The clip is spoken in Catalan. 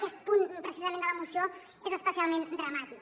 aquest punt precisament de la moció és especialment dramàtic